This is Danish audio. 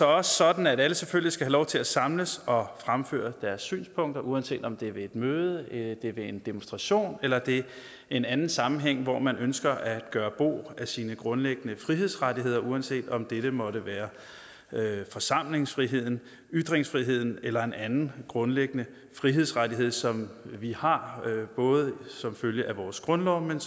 også sådan at alle selvfølgelig skal have lov til at samles og fremføre deres synspunkter uanset om det er ved et møde det er ved en demonstration eller det er i en anden sammenhæng hvor man ønsker at gøre brug af sine grundlæggende frihedsrettigheder uanset om dette måtte være forsamlingsfriheden ytringsfriheden eller en anden grundlæggende frihedsrettighed som vi har både som følge af vores grundlov men